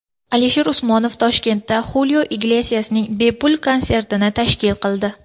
Alisher Usmonov Toshkentda Xulio Iglesiasning bepul konsertini tashkil qildi.